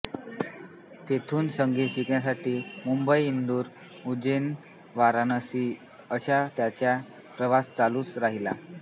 तेथून संगीत शिक्षणासाठी मुंबई इंदूर उज्जैन वाराणसी असा त्यांचा प्रवास चालू राहिला